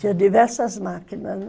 Tinha diversas máquinas, né?